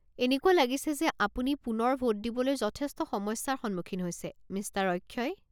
এনেকুৱা লাগিছে যে আপুনি পুনৰ ভোট দিবলৈ যথেষ্ট সমস্যাৰ সন্মুখীন হৈছে, মিষ্টাৰ অক্ষয়।